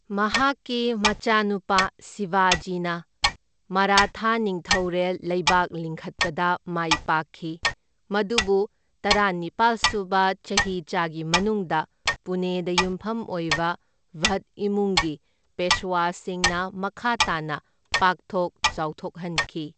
ꯃꯍꯥꯛꯀꯤ ꯃꯆꯥꯅꯨꯄꯥ ꯁꯤꯕꯥꯖꯤꯅ ꯃꯔꯥꯊꯥ ꯅꯤꯡꯊꯧꯔꯦꯜ ꯂꯩꯕꯥꯛ ꯂꯤꯡꯈꯠꯄꯗ ꯃꯥꯏ ꯄꯥꯛꯈꯤ, ꯃꯗꯨꯕꯨ ꯇꯔꯥꯅꯤꯄꯥꯜ ꯁꯨꯕ ꯆꯍꯤꯆꯥꯒꯤ ꯃꯅꯨꯡꯗ ꯄꯨꯅꯦꯗ ꯌꯨꯝꯐꯝ ꯑꯣꯏꯕ ꯚꯠ ꯏꯃꯨꯡꯒꯤ ꯄꯦꯁꯋꯥꯁꯤꯡꯅ ꯃꯈꯥ ꯇꯥꯅ ꯄꯥꯛꯊꯣꯛ ꯆꯥꯎꯊꯣꯛꯍꯟꯈꯤ꯫